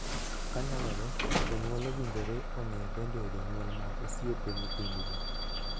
Ka nyalore, jonyuol owinjore ong'ee bende jonyuol mag osiepe nyithindgi.